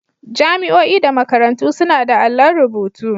Jami'o'i da makarantu suna da allon rubutu.